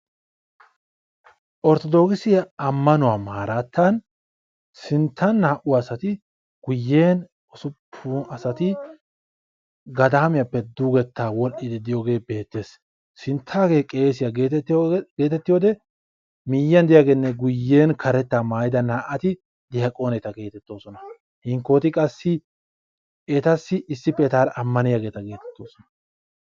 Orthodixiya amanuwa maradanttan sinttan naa'u asaati guuyen ussupun asaati gadamiyape dugetta wodhdhidi diyoge betees. Sinttage qeesiya getettiyode miyiyan de'iyagene guuyen karetta maayida naa'atti daqqoneta getetosona. Hinkkoti qassi etasi issipe etara amaniyageta getetosona.